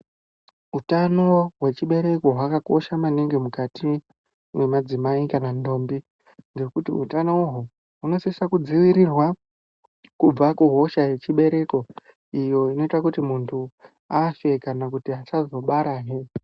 Utano hwechibereko hwakakosha maningi mukati mwemadzimai kana ndombi. Ngekuti hutanoho hunosisa kudzivirirwa kubva kuhosha yechibereko iyo inoita kuti muntu afe kana kuti asazobara he.